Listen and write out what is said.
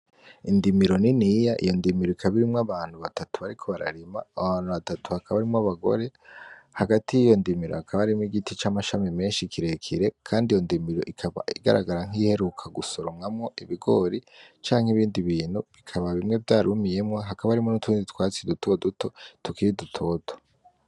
Indimiro niniya ,iyo ndimiro ikaba irimwo abantu batatu bariko bararima, abo bantu batatu bakaba harimwo abagore ,hagati y'iyo ndimiro hakaba harimwo Igiti camashami menshi kirekire Kandi iyo ndimiro ikaba igaragara nk iyiheruka gusoromwamwo Ibigori canke ibindi bintu bikaba bimwe vyarumiyemwo hakaba harimwo n'utundi twatsi duto duto tukiri dutoto.